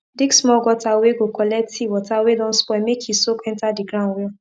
dig small gutter whey go collect tea water whey don spoil make he soak enter the ground well